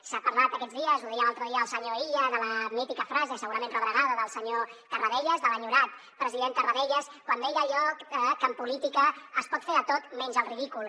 s’ha parlat aquests dies ho deia l’altre dia el senyor illa de la mítica frase segurament rebregada del senyor tarradellas de l’enyorat president tarradellas quan deia allò que en política es pot fer de tot menys el ridícul